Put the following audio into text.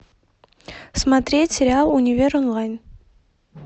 смотреть сериал универ онлайн